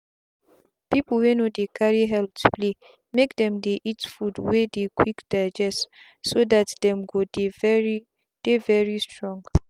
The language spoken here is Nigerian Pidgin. people wey no dey carry health playmake them they eat food wey dey quick digestso that them go dey very dey very strong.